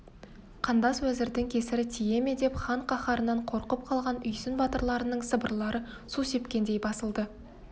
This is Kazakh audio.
қандас уәзірдің кесірі тие ме деп хан қаһарынан қорқып қалған үйсін батырларының сыбырлары су сепкендей басылды